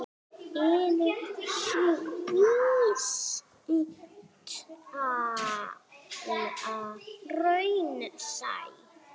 Er sú vísitala raunsæ?